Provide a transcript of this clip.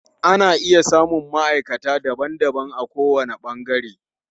Ana iya samun maʼaikata daban daban a ko wani ɓangare.